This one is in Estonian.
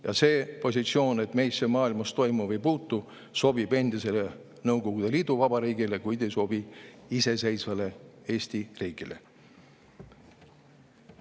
Ja see positsioon, et meisse maailmas toimuv ei puutu, sobib endise Nõukogude Liidu vabariigile, kuid ei sobi iseseisvale Eesti riigile.